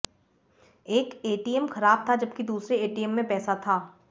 एक एटीएम खराब था जबकि दूसरे एटीएम में पैसा था